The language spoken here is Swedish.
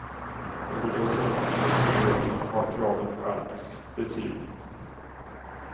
Under de senaste tre åren har kraven skärpts betydligt.